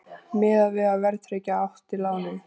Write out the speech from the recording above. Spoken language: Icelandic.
Miðað við að verðtryggja átti lánið